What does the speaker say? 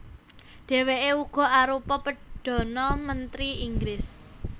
Dhèwèké uga arupa perdhana mentri Inggris